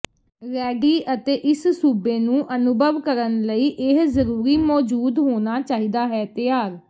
ready ਅਤੇ ਇਸ ਸੂਬੇ ਨੂੰ ਅਨੁਭਵ ਕਰਨ ਲਈ ਇਹ ਜ਼ਰੂਰੀ ਮੌਜੂਦ ਹੋਣਾ ਚਾਹੀਦਾ ਹੈ ਤਿਆਰ